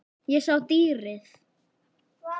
Ég sá dýrið.